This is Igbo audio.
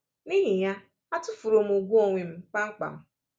N’ihi ya, atụfuru m ùgwù onwe m kpamkpam.